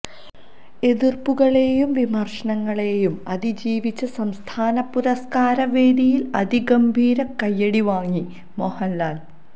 എതിർപ്പുകളെയും വിമര്ശങ്ങളെയുംഅതിജീവിച്ച് സംസ്ഥാന പുരസ്കാര വേദിയിൽ അതിഗംഭീര കയ്യടി വാങ്ങി മോഹൻലാൽ